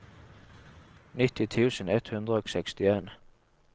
nitti tusen ett hundre og sekstien